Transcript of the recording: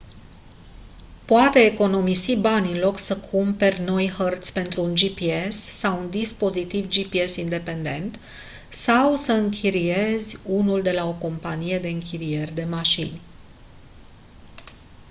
poate economisi bani în loc să cumperi noi hărți pentru un gps sau un dispozitiv gps independent sau să închiriezi unul de la o companie de închirieri de mașini